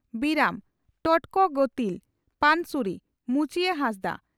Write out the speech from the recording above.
ᱵᱤᱨᱟᱹᱢ (ᱴᱚᱴᱠᱚ ᱜᱚᱛᱤᱞ) ᱯᱟᱱᱥᱩᱨᱤ (ᱢᱩᱪᱤᱭᱟᱹ ᱦᱟᱸᱥᱫᱟ)